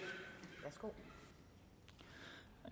det